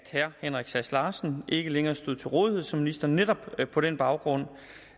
at herre henrik sass larsen ikke længere stod til rådighed som minister netop på den baggrund